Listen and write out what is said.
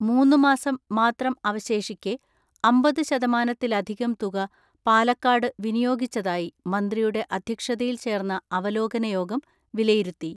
മൂന്നുമാസം മാത്രം അവശേഷിക്കെ അമ്പത് ശതമാനത്തിലധികം തുക പാലക്കാട് വിനിയോഗിച്ചതായി മന്ത്രിയുടെ അധ്യക്ഷതയിൽ ചേർന്ന അവലോകന യോഗം വിലയിരുത്തി.